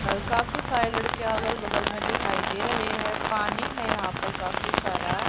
और काफी सारे लड़के अगल बगल में दिखाई दे रहे हैं पानी है यहां पर काफी सारा--